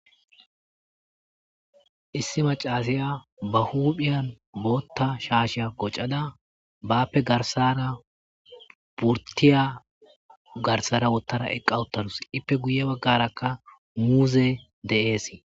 issi macasiya ba huuphiyan bootta shaashya qoccada bappe garsara purtiya garsara wottara eqqa uttarus ippe guye baggarakka muuze de7eesi